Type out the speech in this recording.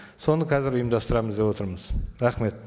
соны қазір ұйымдастырамыз деп отырмыз рахмет